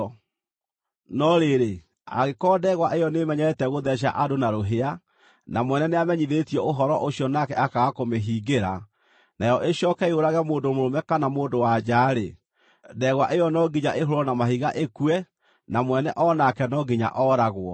No rĩrĩ, angĩkorwo ndegwa ĩyo nĩĩmenyerete gũtheeca andũ na rũhĩa, na mwene nĩamenyithĩtio ũhoro ũcio nake akaaga kũmĩhingĩra, nayo ĩcooke yũrage mũndũ mũrũme kana mũndũ-wa-nja-rĩ, ndegwa ĩyo no nginya ĩhũũrwo na mahiga ĩkue, na mwene o nake no nginya ooragwo.